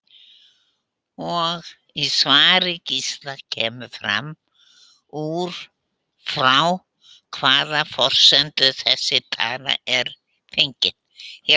Í svari Gísla kemur fram út frá hvaða forsendum þessi tala er fengin.